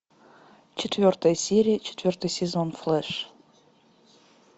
четвертая серия четвертый сезон флэш